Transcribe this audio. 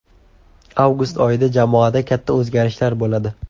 Avgust oyida jamoada katta o‘zgarishlar bo‘ladi.